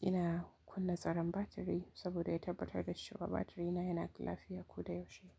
Ina kunna tsaron batiri saboda ya tabbatar da cewa batirina yana lafiya ko da yaushe.